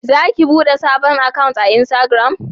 Za ki bude sabon akant a insitagiram?